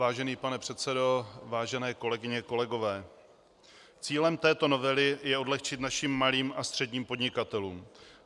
Vážený pane předsedo, vážené kolegyně, kolegové, cílem této novely je odlehčit našim malým a středním podnikatelům.